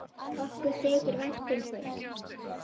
Okkur þykir vænt um þig.